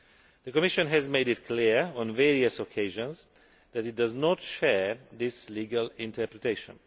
The Commission has made it clear on various occasions that it does not share this legal interpretation.